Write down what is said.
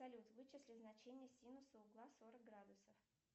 салют вычисли значение синуса угла сорок градусов